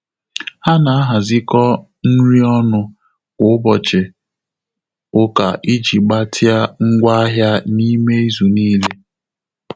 Há nà-àhàzị́kọ́ nrí ọ́nụ́ kwá ụ́bọ̀chị̀ ụka ìjí gbàtị́à ngwá áhị́à n’ímé ízù níílé.